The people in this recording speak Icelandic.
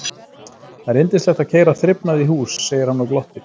Það er yndislegt að keyra þrifnað í hús, segir hann og glottir.